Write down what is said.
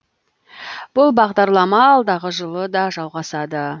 бұл бағдарлама алдағы жылы да жалғасады